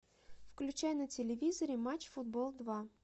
включай на телевизоре матч футбол два